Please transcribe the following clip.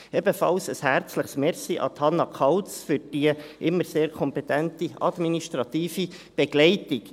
Ebenfalls ein herzliches Merci an Hannah Kauz für die immer sehr kompetente administrative Begleitung.